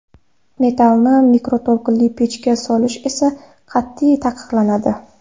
Metallni mikroto‘lqinli pechga solish esa qat’iy taqiqlanadi.